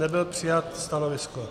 Nebylo přijato stanovisko.